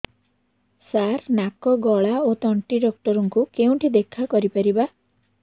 ସାର ନାକ ଗଳା ଓ ତଣ୍ଟି ଡକ୍ଟର ଙ୍କୁ କେଉଁଠି ଦେଖା କରିପାରିବା